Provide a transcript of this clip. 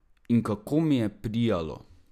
In kako mi je prijalo!